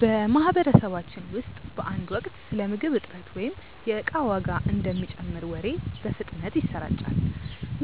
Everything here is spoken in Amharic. በማህበረሰባችን ውስጥ በአንድ ወቅት ስለ ምግብ እጥረት ወይም የእቃ ዋጋ እንደሚጨምር ወሬ በፍጥነት ይሰራጫል።